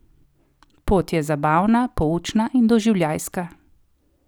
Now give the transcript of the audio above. Pot je zabavna, poučna in doživljajska.